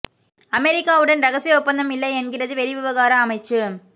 அமெரிக்காவுடன் ரகசிய ஒப்பந்தம் இல்லை என்கிறது வெளிவிவகார அமைச்சு